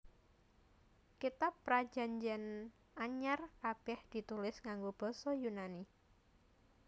Kitab Prajanjian Anyar kabèh ditulis nganggo basa Yunani